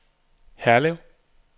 Herlev